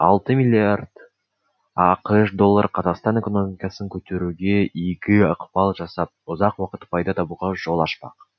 алты миллиард ақш доллары қазақстан экономикасын көтеруге игі ықпал жасап ұзақ уақыт пайда табуға жол ашпақ